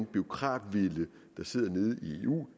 bureaukratvælde der sidder nede i eu